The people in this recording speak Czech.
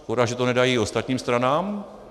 Škoda, že to nedají i ostatním stranám.